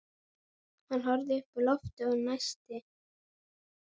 Hann horfði upp í loftið og dæsti.